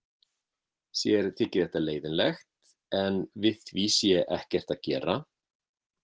Sér þyki þetta leiðinlegt en við því sé ekkert að gera.